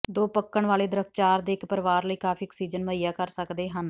ਦੋ ਪੱਕਣ ਵਾਲੇ ਦਰੱਖਤ ਚਾਰ ਦੇ ਇੱਕ ਪਰਿਵਾਰ ਲਈ ਕਾਫੀ ਆਕਸੀਜਨ ਮੁਹੱਈਆ ਕਰ ਸਕਦੇ ਹਨ